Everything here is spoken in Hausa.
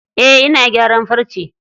Eh ina gyaran farce.